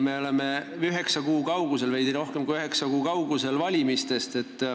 Me oleme veidi rohkem kui üheksa kuu kaugusel valimistest.